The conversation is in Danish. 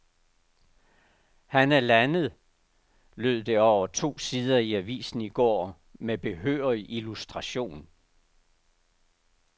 Han er landet, lød det over to sider i avisen i går med behørig illustration.